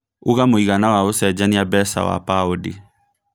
ũnga mũigana wa ũcenjanĩa mbeca wa paũndi